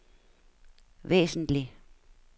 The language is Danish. væsentlig